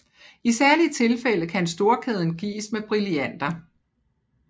I særlige tilfælde kan storkæden gives med brillanter